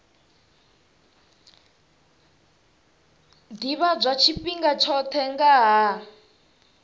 ḓivhadzwa tshifhinga tshoṱhe nga ha